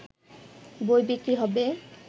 বই বিক্রি হবে